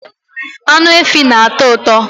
Anụ efi na-atọ ụtọ